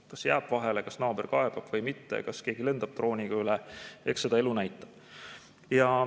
Kas jääb vahele, kas naaber kaebab või mitte, kas keegi lendab drooniga üle, eks seda elu näitab.